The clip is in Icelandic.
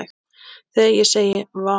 Þegar ég segi: Vá!